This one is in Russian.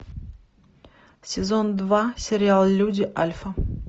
сезон два сериал люди альфа